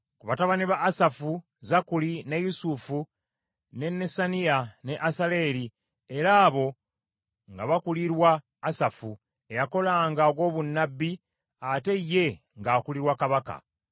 Ku batabani ba Asafu: Zakkuli, ne Yusufu, ne Nesaniya ne Asalera, era abo nga bakulirwa Asafu, eyakolanga ogw’obunnabbi, ate ye ng’akulirwa kabaka.